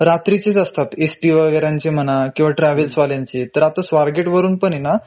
रात्रीचेच असतात.एस टी वगेऱ्यांचे म्हणा किंवा ट्रॅव्हल्सवाल्यांचे तर आताswargate वरून पणे ना